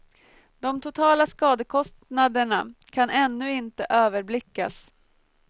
De totala skadekostnaderna kan ännu inte överblickas.